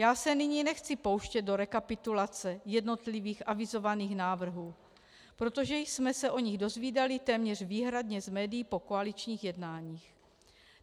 Já se nyní nechci pouštět do rekapitulace jednotlivých avizovaných návrhů, protože jsme se o nich dozvídali téměř výhradně z médií po koaličních jednáních.